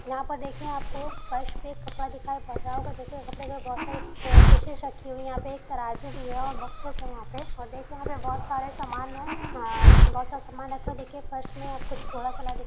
यहाँ पर देखिए आपको फर्श पे एक कपड़ा दिखाई पड़ रहा होगा। देखिए कपड़े पे बहोत सारे फ फ़िशिस रखी हुई हैं। यहाँ पे एक तराजू भी है और बॉक्सस हैं। यहाँ पे और देखिए यहाँ पे बहोत सारे सामान में अ बहोत सारा सामान ए को देख के फर्श में आपको --